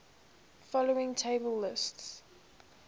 following table lists